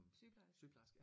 Sygeplejerske